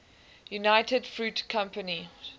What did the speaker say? united fruit company